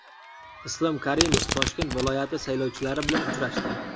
Islom Karimov Toshkent viloyati saylovchilari bilan uchrashdi.